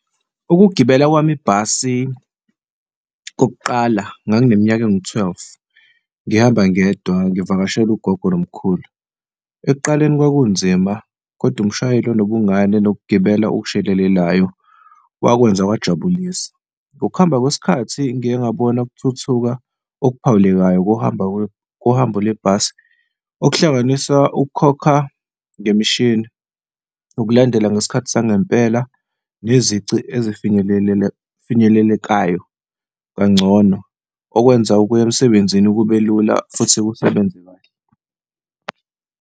Ukugibela kwami ibhasi kokuqala ngangineminyaka engu-twelve, ngihamba ngedwa, ngivakashele ugogo nomkhulu. Ekuqaleni kwakunzima kodwa umshayeli onobungane nokugibela okushelelelayo wakwenza kuyajabulisa. Ngokuhamba kwesikhathi ngike ngabona ukuthuthuka okuphawulekayo kuhambo lwebhasi okuhlanganisa ukukhokha ngemishini, ukulandela ngesikhathi sangempela, nezici ezfinyelelekayo kangcono, okwenza ukuya emsebenzini kube lula futhi kusebenze kahle.